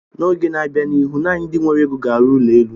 N'oge n'abia n'ihu, naanị ndị nwere ego ga arụ ụlọ elu.